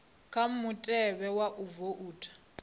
kha mutevhe wa u voutha